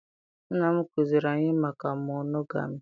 Nna m kụziri anyị maka monogami